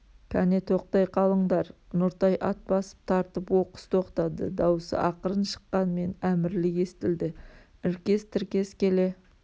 кәне тоқтай қалындар нұртай ат басып тартып оқыс тоқтады даусы ақырын шыққанмен әмірлі естілді іркес-тіркес келе